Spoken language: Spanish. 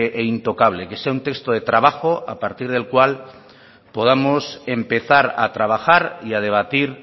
e intocable que sea un texto de trabajo a partir del cual podamos empezar a trabajar y a debatir